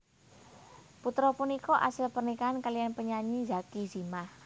Putra punika asil pernikahan kaliyan penyanyi Zacky Zimah